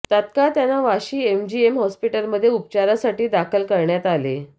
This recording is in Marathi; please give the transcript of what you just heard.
तत्काळ त्यांना वाशी एमजीएम हॉस्पिटलमध्ये उपचारासाठी दाखल करण्यात आले